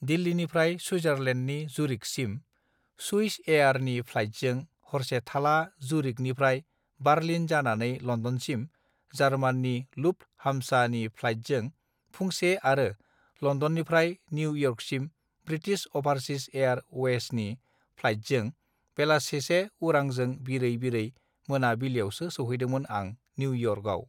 दिल्लीनिफ्राय सुइजारलेन्दनि जुरिकसिम सुइसएयार नि फ्लाइटजों हरसे थाला जुरिक निफ्राय बार्लिन जानानै लन्दनसिम जार्माननि लुप्ट हाम्सा नि फ्लाइटजोंफुंसे आरो लन्दननिफ्राय निउ इयर्कसिम बृटिस अभारसिस एयार अवेसनि फ्लाइटजों बेलासिसे उरांजों बिरै बिरै मोना बिलियावसो सौहैदोंमोन आं निउ इयर्कआव